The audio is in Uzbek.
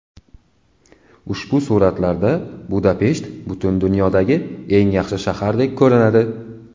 Ushbu suratlarda Budapesht butun dunyodagi eng yaxshi shahardek ko‘rinadi.